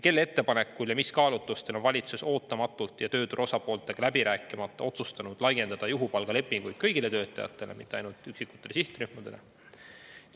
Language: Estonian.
Kelle ettepanekul ja mis kaalutlustel on valitsus ootamatult ja tööturu osapooltega läbi rääkimata otsustanud laiendada juhupalgalepinguid kõigile töötajatele, mitte ainult üksikutele sihtrühmadele?